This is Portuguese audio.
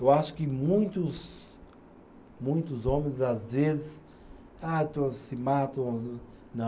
Eu acho que muitos, muitos homens, às vezes, se matam, não.